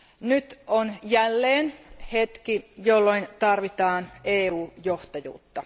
Nyt on jälleen hetki, jolloin tarvitaan EU johtajuutta.